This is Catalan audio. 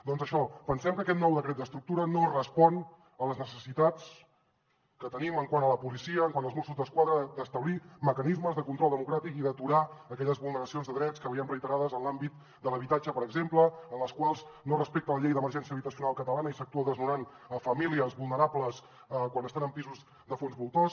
doncs això pensem que aquest nou decret d’estructura no respon a les necessitats que tenim quant a la policia quant als mossos d’esquadra d’establir mecanismes de control democràtic i d’aturar aquelles vulneracions de drets que veiem reiterades en l’àmbit de l’habitatge per exemple en les quals no es respecta la llei d’emergència habitacional catalana i s’actua desnonant famílies vulnerables quan estan en pisos de fons voltors